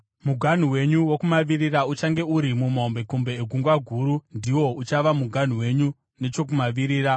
Muganhu wenyu wokumavirira uchange uri mahombekombe eGungwa Guru. Ndiwo uchava muganhu wenyu nechokumavirira.